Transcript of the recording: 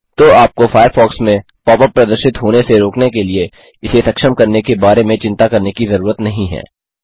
तो आपको फ़ायरफ़ॉक्स में pop यूपी प्रदर्शित होने से रोकने के लिए इसे सक्षम करने के बारे में चिंता करने की ज़रूरत नहीं है